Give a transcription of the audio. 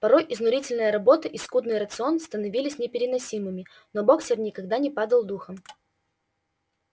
порой изнурительная работа и скудный рацион становились непереносимыми но боксёр никогда не падал духом